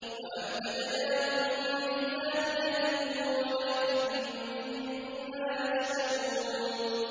وَأَمْدَدْنَاهُم بِفَاكِهَةٍ وَلَحْمٍ مِّمَّا يَشْتَهُونَ